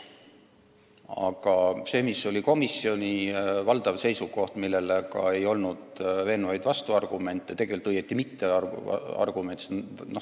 Aga sellele, mis oli komisjoni valdav seisukoht, ei olnud veenvaid vastuargumente, õieti mitteargumente.